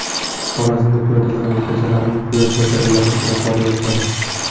Xorazmda piyodalar yo‘lakchalarini quyosh batareyali chiroqlar yoritadi.